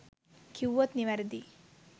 කිව්වොත් නිවැරදියි.